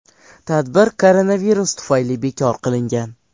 Tadbir koronavirus tufayli bekor qilingan.